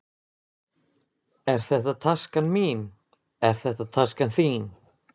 Þetta er taskan mín. Er þetta taskan þín?